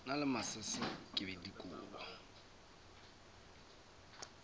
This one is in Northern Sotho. na le masese ke dikobo